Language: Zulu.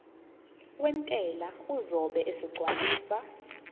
wentela uzobe esegcwalisa